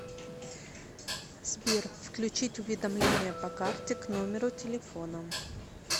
сбер включить уведомления по карте к номеру телефона